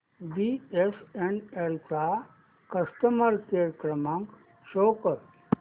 BSNL चा customer care क्रमांक show कर